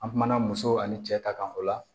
An kumana muso ani cɛ ta kan o la